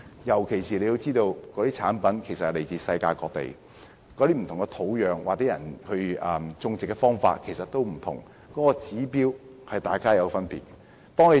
尤其是中藥材來自世界各地，其種植土壤或種植方法也不同，各地的指標也有別。